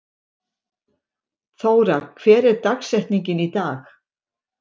Þóra, hver er dagsetningin í dag?